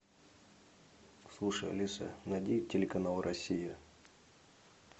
слушай алиса найди телеканал россия